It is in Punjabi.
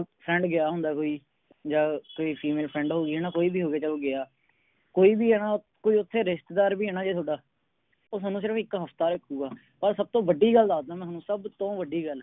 Friend ਗਿਆ ਹੁੰਦਾ ਕੋਈ ਜਾ ਕੋਈ Female friend ਹੋਗੀ ਹੈ ਨਾ ਕੋਈ ਵੀ ਹੋ ਗਿਆ ਕੋਈ ਵੀ ਆ ਨਾ ਕੋਈ ਓਥੇ ਰਿਸ਼ਤੇਦਾਰ ਵੀ ਹੈ ਨਾ ਜੇ ਤੁਹਾਡਾ ਉਹ ਥੋਨੂੰ ਸਿਰਫ ਇਕ ਹਫਤਾ ਰੱਖੂਗਾ ਓਰ ਸਭ ਤੋਂ ਵੱਡੀ ਗੱਲ ਦਸਦਾ ਮੈਂ ਤੁਹਾਨੂੰ ਸਭ ਤੋਂ ਵੱਡੀ ਗੱਲ